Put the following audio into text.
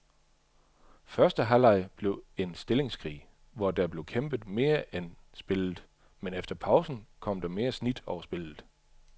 Første halvleg blev en stillingskrig, hvor der blev kæmpet mere end spillet, men efter pausen kom der mere snit over spillet.